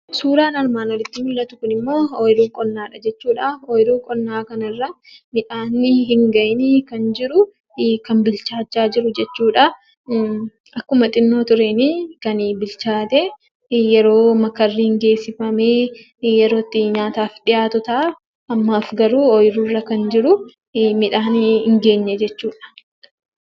Suuraan armaan olitti mul'atu kunimmoo oyiruu qonnaadha jechuudha. Oyiruu qonnaa kanarra midhaan hin gahiini kan jiruu kan bilchaachaa jiru jechuudha. Akkuma xiqqoo tureen yeroo makarri geessifamee yerootti nyaataaf dhiyaatu ta'a. Ammaaf garuu oyiruurra kan jiru midhaan hin geenye jechuudha.